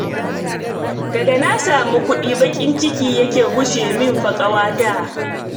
Daga na samu kuɗi baƙin ciki yake gushe min fa, ƙawata